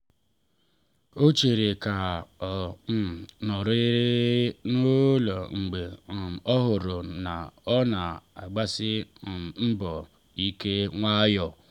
ọ chere ka ọ um nọrịrị n’ụlọ mgbe um o hụrụ na ọ na-agbasi um mbọ ike nwayọ.